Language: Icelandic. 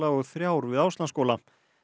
og þrjár við Áslandsskóli